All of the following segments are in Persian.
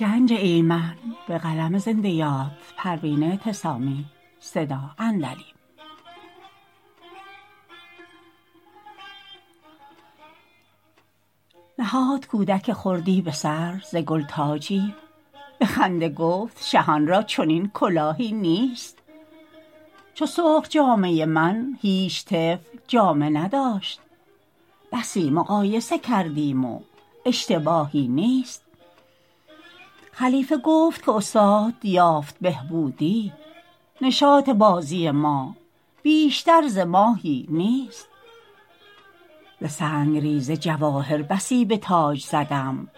نهاد کودک خردی بسر ز گل تاجی بخنده گفت شهان را چنین کلاهی نیست چو سرخ جامه من هیچ طفل جامه نداشت بسی مقایسه کردیم و اشتباهی نیست خلیقه گفت که استاد یافت بهبودی نشاط بازی ما بیشتر ز ماهی نیست ز سنگریزه جواهر بسی بتاج زدم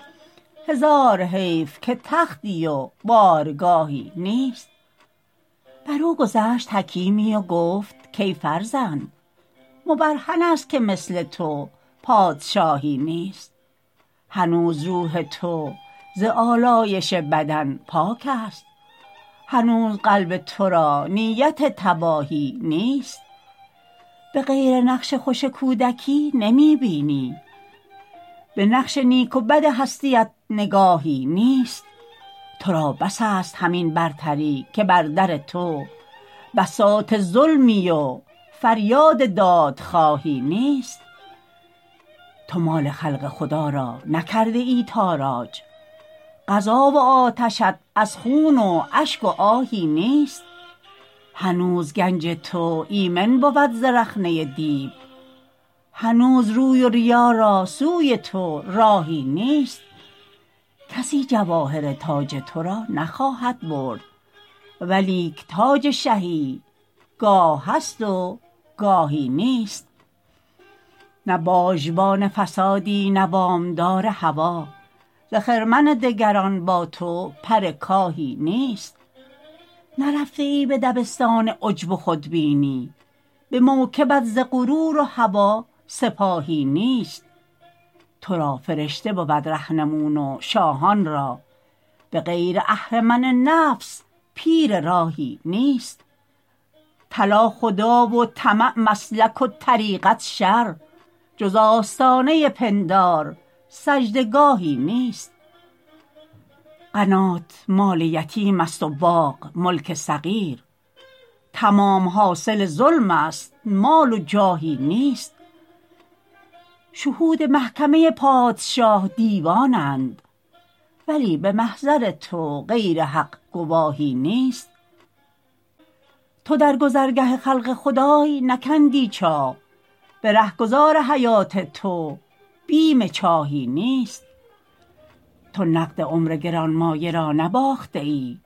هزار حیف که تختی و بارگاهی نیست برو گذشت حکیمی و گفت کای فرزند مبرهن است که مثل تو پادشاهی نیست هنوز روح تو ز الایش بدن پاکست هنوز قلب تو را نیت تباهی نیست بغیر نقش خوش کودکی نمی بینی بنقش نیک و بد هستیت نگاهی نیست ترا بس است همین برتری که بر در تو بساط ظلمی و فریاد دادخواهی نیست تو مال خلق خدا را نکرده ای تاراج غذا و آتشت از خون و اشک و آهی نیست هنوز گنج تو ایمن بود ز رخنه دیو هنوز روی و ریا را سوی تو راهی نیست کسی جواهر تاج تو را نخواهد برد ولیک تاج شهی گاه هست و گاهی نیست نه باژبان فسادی نه وامدار هوی ز خرمن دگران با تو پر کاهی نیست نرفته ای به دبستان عجب و خودبینی بموکبت ز غرور و هوی سپاهی نیست ترا فرشته بود رهنمون و شاهانرا بغیر اهرمن نفس پیر راهی نیست طلا خدا و طمع مسلک و طریقت شر جز آستانه پندار سجده گاهی نیست قنات مال یتیم است و باغ ملک صغیر تمام حاصل ظلم است مال و جاهی نیست شهود محکمه پادشاه دیوانند ولی بمحضر تو غیر حق گواهی نیست تو در گذر گه خلق خدای نکندی چاه به رهگذار حیات تو بیم چاهی نیست تو نقد عمر گرانمایه را نباخته ای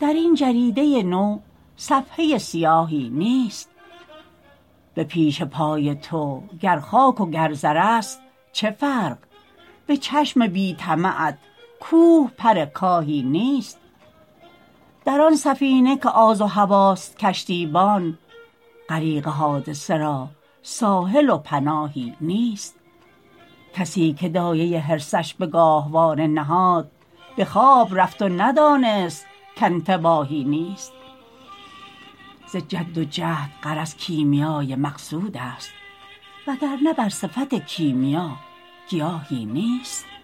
درین جریده نو صفحه سیاهی نیست به پیش پای تو گر خاک و گر زر است چه فرق بچشم بی طمعت کوه پر کاهی نیست در آن سفیه که آز و هوی ست کشتیبان غریق حادثه را ساحل و پناهی نیست کسیکه دایه حرصش بگاهواره نهاد بخواب رفت و ندانست کانتباهی نیست ز جد و جهد غرض کیمیای مقصود است وگر نه بر صفت کیمیا گیاهی نیست